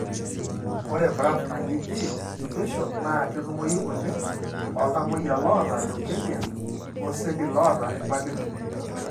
Ore BRAF naji gene mutation na ketumoyu oleng toltamoyia loota leukemia oseli loota ilpapit .